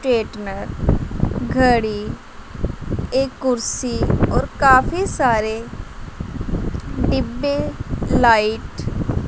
straightener घड़ी एक कुर्सी और काफी सारे डिब्बे लाइट --